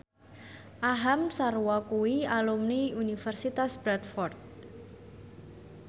Aham Sharma kuwi alumni Universitas Bradford